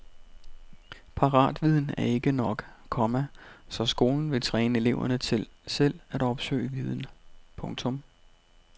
Paratviden er ikke nok, komma så skolen vil træne eleverne til selv at opsøge viden. punktum